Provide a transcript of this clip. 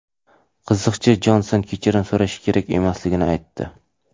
Qiziqchi Jonson kechirim so‘rashi kerak emasligini aytdi.